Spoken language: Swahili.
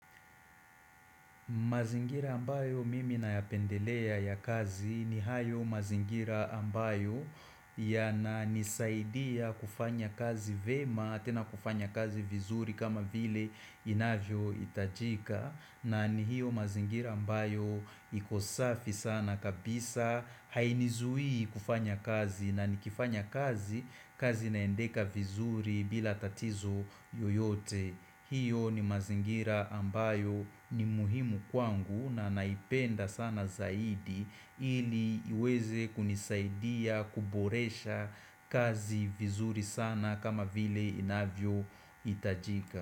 Mazingira ambayo mimi nayapendelea ya kazi ni hayo mazingira ambayo yananisaidia kufanya kazi vyema tena kufanya kazi vizuri kama vile inavyohitajika na ni hiyo mazingira ambayo iko safi sana kabisa hainizui kufanya kazi na nikifanya kazi kazi inaendeka vizuri bila tatizo yoyote. Hiyo ni mazingira ambayo ni muhimu kwangu na naipenda sana zaidi ili iweze kunisaidia kuboresha kazi vizuri sana kama vile inavyohitajika.